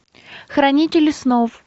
хранители снов